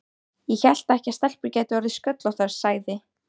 Ég hélt ekki að stelpur gætu orðið sköllóttar, sagði